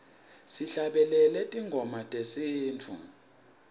sihlabelele tingoma tesintfu